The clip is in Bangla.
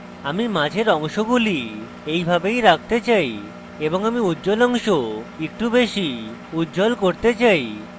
আমি মাঝের অংশগুলি এইভাবেই রাখতে চাই এবং আমি উজ্জ্বল অংশ একটু বেশী উজ্জ্বল করতে চাই